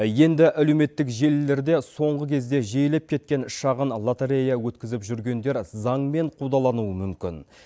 енді әлеуметтік желілерде соңғы кезде жиілеп кеткен шағын лоторея өткізіп жүргендер заңмен қудалануы мүмкін